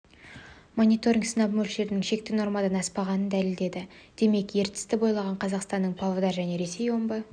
мониторинг сынап мөлшерінің шекті нормадан аспағанын дәлелдеді демек ертісті бойлаған қазақстанның павлодар және ресейдің омбы